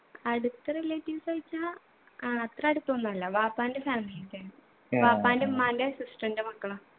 അടുത്ത relatives വെച്ചാ ആ അത്ര അടുത്തൊന്നു അല്ല വാപ്പാൻ്റെ family ത്തെയാണ് വാപ്പാൻ്റെ ഉമ്മാൻ്റെ sister ൻ്റെ മക്കളാ